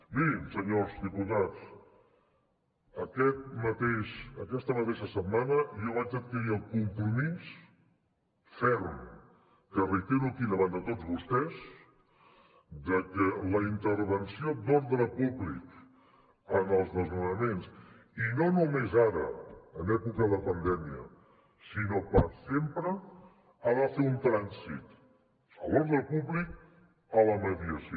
mirin senyors diputats aquesta mateixa setmana jo vaig adquirir el compromís ferm que reitero aquí davant de tots vostès de que la intervenció d’ordre públic en els desnonaments i no només ara en època de pandèmia sinó per sempre ha de fer un trànsit de l’ordre públic a la mediació